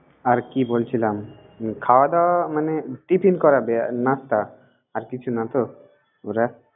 আর কি বলছিলাম, খাওয়া-দাওয়া মানে tiffin করবে আর nasta । আর কিছু না তো, ওরা।